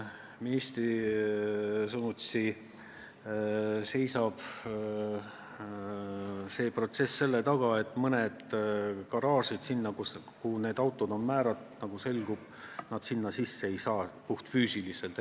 Ministri sõnutsi seisab protsess selle taga, et selgus, et mõnesse garaaži, kuhu need autod on määratud, ei saa need puhtfüüsiliselt sisse sõita.